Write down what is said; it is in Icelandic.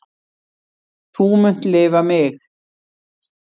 Þú munt lifa mig.